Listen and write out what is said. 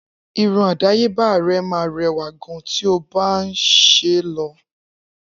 Irun àdáyébá rè ma rẹwà gan tí ọ bá nṣe lọ